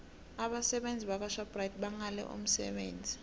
abasebenzi bakwashoprite bangale umsebenzi